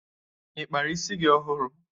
Ị kpara isi gị ọhụrụ?